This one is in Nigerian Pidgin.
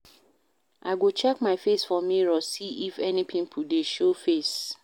I go check my face for mirror see if any pimple dey show face